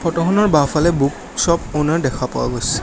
ফটোখনৰ বাওঁফালে book shop owner দেখা পোৱা গৈছে।